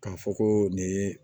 K'a fɔ ko nin ye